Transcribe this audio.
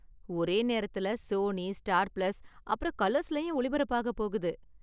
ஒரே நேரத்துல Sony, Star Plus, அப்பறம் கலர்ஸ்லயும் ஒளிபரப்பாக போகுது.